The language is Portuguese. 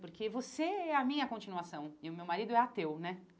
Porque você é a minha continuação e o meu marido é ateu, né?